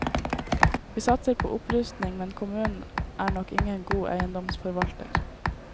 Vi satser på opprustning, men kommunen er nok ingen god eiendomsforvalter.